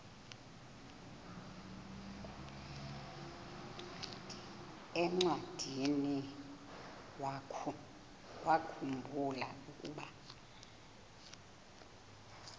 encwadiniwakhu mbula ukuba